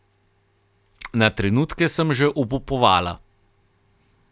Na trenutke sem že obupovala.